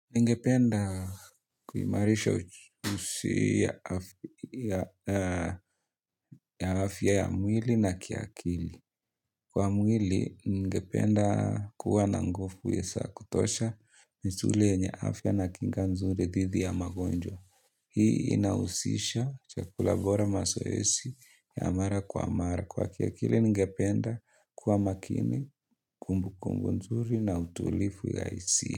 Ningependa kuimarisha usi ya afya ya mwili na kiakili. Kwa mwili, ningependa kuwa na nguvu ya za kutosha misuli yenye afya na kinga nzuri dhidi ya magonjwa. Hii inahusisha chakula bora mazoezi ya mara kwa mara. Kwa kiakili, ningependa kuwa makini, kumbukumbu nzuri na utulivu ya hisia.